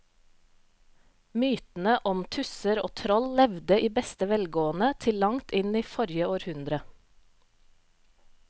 Mytene om tusser og troll levde i beste velgående til langt inn i forrige århundre.